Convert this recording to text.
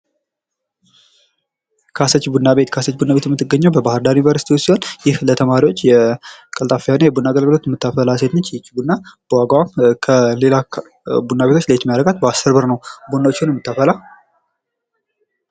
ካሰች ቡና ቤት ካሰች ቡና ቤት የምትገኘው በባህርዳር ዩኒቨርስቲ ውስጥ ሲሆን ይህ ለተማሪዎች ቀልጣፋ የሆነ የቡና አገልግሎት የምታፈላ ሴት ነች። ይቺ ቡና በዋጋዋ ከሌላ ቡና ቤቶች ለየት የሚያደርጋት በ10 ብር ነው ቡና የምታፈላ።